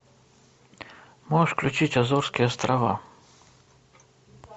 можешь включить азорские острова